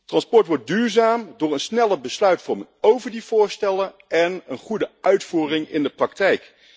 Transport wordt duurzaam door een snelle besluitvorming over die voorstellen en een goede uitvoering in de praktijk.